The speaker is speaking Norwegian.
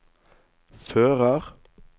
fører